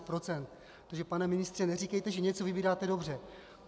Takže pane ministře, neříkejte, že něco vybíráte dobře.